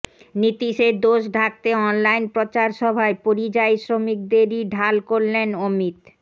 নীতীশের দোষ ঢাকতে অনলাইন প্রচারসভায় পরিযায়ী শ্রমিকদেরই ঢাল করলেন অমিত